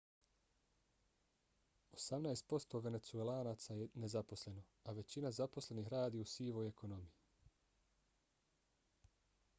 osamnaest posto venecuelanaca je nezaposleno a većina zaposlenih radi u sivoj ekonomiji